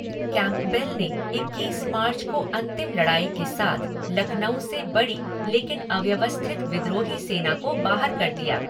Campbell ने इक्कीस मार्च को अंतिम लड़ाई के साथ लखनऊ से बड़ी लेकिन अव्यवस्थित विद्रोही सेना को बाहर कर दिया।